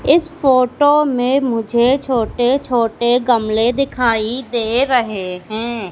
इस फोटो में मुझे छोटे छोटे गमले दिखाई दे रहे हैं।